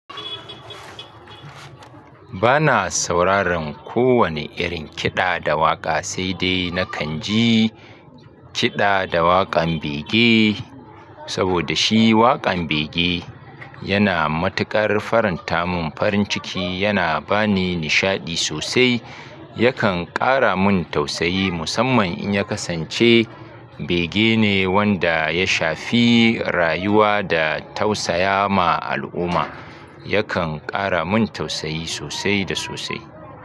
Bana sauraron ko wani irin kiɗa da waƙa sai dai nakan ji kiɗa da waƙan bege saboda shi waƙan bege yana matuƙar faranta mun farin ciki, yana bani nishaɗi sosai. Yakan ƙara mun tausayi musamman in ya kasance bege ne wanda ya shafi rayuwa da tausaya ma al'umma. Yakan ƙara mun tausayi sosai da sosai.